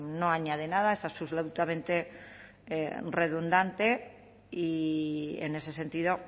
no añade nada es absolutamente redundante y en ese sentido